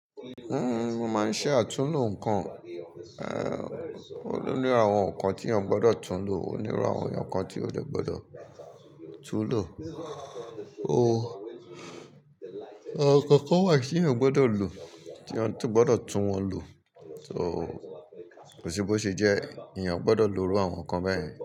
N mo máa ń ṣe àtúnlò nǹkan, ó ní àwọn nǹkan tí èèyàn gbọ́dọ̀ túnlò, ó ní irú àwọn nǹkan tí ó dẹ̀ gbọ́dọ̀ túnlò. Àwọn nǹkan kan wà tí èèyàn gbọ́dọ̀ lò, tí èèyàn tó gbọ́dọ̀ tún wọn lò, so kò sí bó ṣe jẹ́ èèyàn gbọ́dọ̀ lo irú àwọn nǹkan bẹ́yẹn.